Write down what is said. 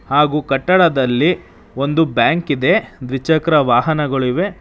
ಹಾಗು ಕಟ್ಟಡದಲ್ಲಿ ಒಂದು ಬ್ಯಾಂಕ್ ಇದೆ ದ್ವಿಚಕ್ರ ವಾಹನಗಳಿವೆ.